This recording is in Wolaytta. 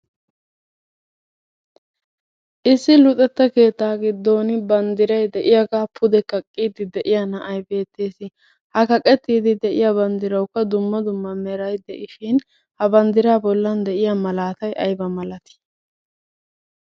Issi luxetta keettaa giddon banddirayi de'iyagaa pude kaqqiiddi de'iya na'ayi beettes. Ha kaqettiiddi de'iya banddirawukka dumma dumma merayi de'ishin ha banddiraa bollan de'iya malaatayi aybaa malati?